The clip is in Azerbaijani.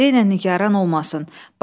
De Nigarə narahat olmasın.